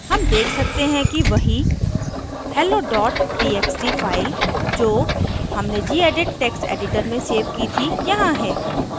hey देख सकते हैं कि वही hello txt file जो हमने जीएडिट text editor से सेव की थी यहाँ है